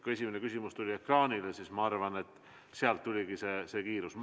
Kui esimene küsimus tuli ekraanile, siis ma arvan, et sealt tekkiski kiirus.